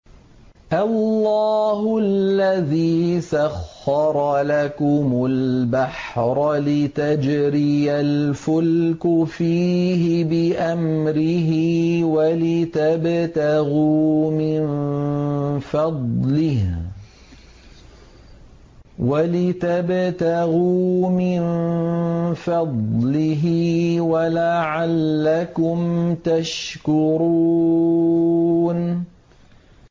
۞ اللَّهُ الَّذِي سَخَّرَ لَكُمُ الْبَحْرَ لِتَجْرِيَ الْفُلْكُ فِيهِ بِأَمْرِهِ وَلِتَبْتَغُوا مِن فَضْلِهِ وَلَعَلَّكُمْ تَشْكُرُونَ